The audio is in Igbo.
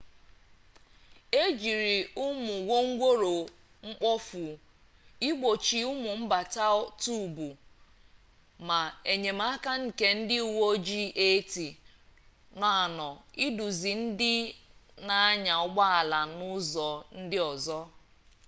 e jiri ụmụ wongworo mkpofu igbochi ụmụ mbata tuubu ma enyemaka nke ndị uwe ojii 80 nọ anọ iduzi ndị na-anya ụgbọ ala n'ụzọ ndị ọzọ